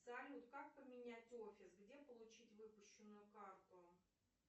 салют как поменять офис где получить выпущенную карту